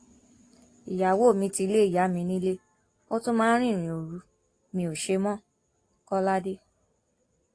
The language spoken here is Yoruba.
ìyàwó mi ti lé ìyá mi nílé ó tún máa ń rìnrìn òru mi ó ṣe mọkọládé